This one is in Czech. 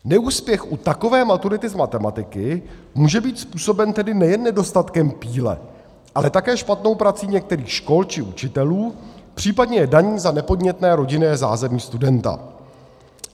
Neúspěch u takové maturity z matematiky může být způsoben tedy nejen nedostatkem píle, ale také špatnou prací některých škol či učitelů, případně je daní za nepodnětné rodinné zázemí studenta.